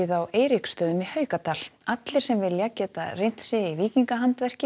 á Eiríkstöðum í Haukadal allir sem vilja geta reynt sig í